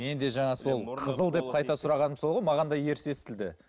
мен де жаңа сол қызыл деп қайта сұрағаным сол ғой маған да ерсі естілді